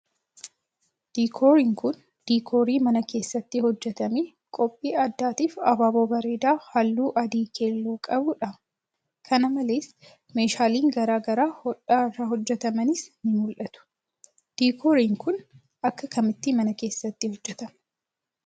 Diikooriin kun, diikoorii mana keessatti hojjatamee qophii addaatiif abaaboo bareedaa haalluu adii keelloo qabuu dha. Kana malees, meeshaaleen garaa garaa hodhaa irraa hojjatamanis ni mul'atu. Diikooriin kun akka kamitti mana keessatti hojjatamu?